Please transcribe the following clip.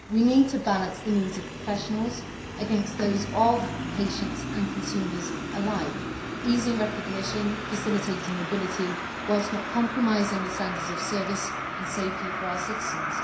We need to balance the needs of professionals against those of patients and consumers alike, easing recognition and facilitating mobility whilst not compromising the standards of service and safety for our citizens.